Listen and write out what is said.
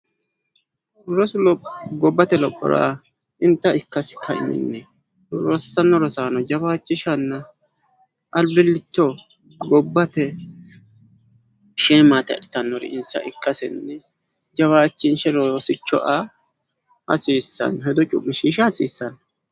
Rosuno gobbate lophora xinta ikkasi ka'iminni rossanno rosaano jawaachishanna albillicho gobbate sheemaate adhitawori insa ikkasinni jawaanchinshe rosicho aa hasiissanno. Hedo cu'mishiisha hasiissanno.